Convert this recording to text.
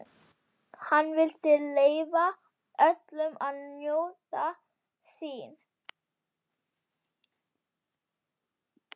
Hann vildi leyfa öllum að njóta sín.